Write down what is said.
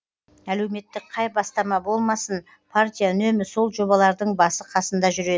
әлеуметтік қай бастама болмасын партия үнемі сол жобалардың басы қасында жүреді